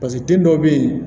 paseke te dɔw be yen